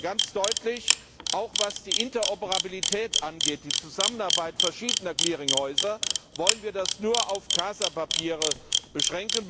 ganz deutlich Auch, was die Interoperabilität angeht, die Zusammenarbeit verschiedener Clearinghäuser, wollen wir das nur auf Casa Papiere beschränken